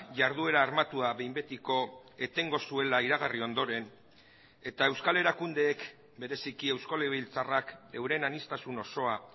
jarduera armatua behin betiko etengo zuela iragarri ondoren eta euskal erakundeek bereziki eusko legebiltzarrak euren aniztasun osoa